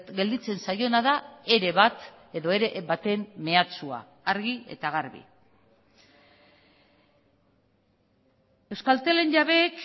gelditzen zaiona da ere bat edo ere baten mehatxua argi eta garbi euskaltelen jabeek